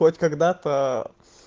хоть когда-то